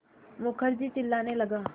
मुखर्जी चिल्लाने लगा